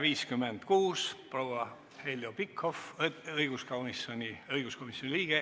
Ettekandjaks palun proua Heljo Pikhofi, õiguskomisjoni liikme.